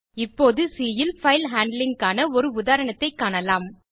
இப்போது சி ல் file handling க்கான ஒரு உதாரணத்தைக் காணலாம்